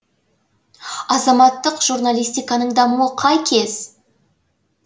азаматтық журналистиканың дамуы қай кез